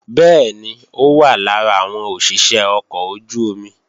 Bẹ́ẹ̀ni, ó wà lára àwọn òṣìṣé ọkọ̀ ojú-omi